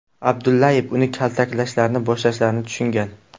Abdullayev uni kaltaklashni boshlashlarini tushungan.